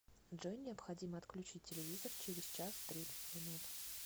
джой необходимо отключить телевизор через час тридцать минут